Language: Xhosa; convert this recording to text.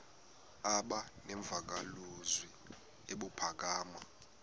aba nemvakalozwi ebuphakama